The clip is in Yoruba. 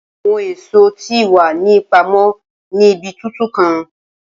Awọn eso ti wa ni ipamọ ni ibi tutu kan.